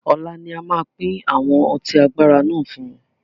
Ọlá ni a máa pín àwọn ọtí agbára náà fún wọn.